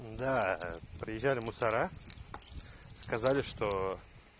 да приезжали мусора сказали что